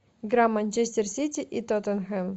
игра манчестер сити и тоттенхэм